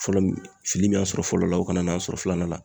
Fɔlɔ , fili min y'a sɔrɔ fɔlɔ la ,o kana n'an sɔrɔ filanan na .